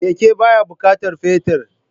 Keke baya bukatar fetir